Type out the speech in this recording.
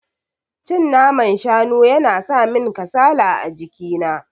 Cin naman shanu yana samin kasala a jiki na.